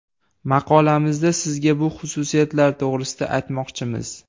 Maqolamizda sizga bu xususiyatlar to‘g‘risida aytmoqchimiz.